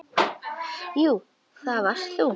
Jú, það varst þú.